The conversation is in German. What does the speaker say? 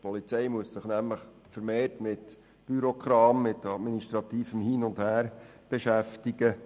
Die Polizei muss sich nämlich vermehrt mit Bürokram und mit administrativem Hin und Her beschäftigen.